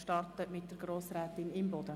Wir starten mit Grossrätin Imboden.